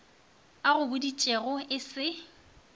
a go boditšego e se